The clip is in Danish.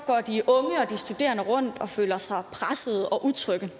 og de studerende rundt og føler sig pressede og utrygge